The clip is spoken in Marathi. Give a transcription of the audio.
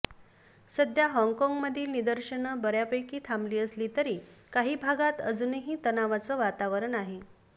सध्या हाँगकाँगमधली निदर्शनं बऱ्यापैकी थांबली असली तरी काही भागात अजूनही तणावाचं वातावरण आहे